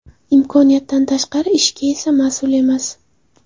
Imkonidan tashqari ishga esa mas’ul emas.